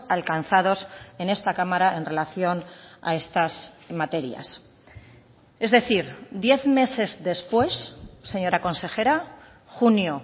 alcanzados en esta cámara en relación a estas materias es decir diez meses después señora consejera junio